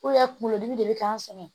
kunkolo dimi de bɛ k'an sɛgɛn